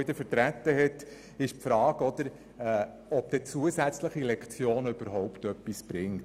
auch Grossrat Vogt hat die Frage aufgeworfen, ob zusätzliche Lektionen tatsächlich etwas bringen.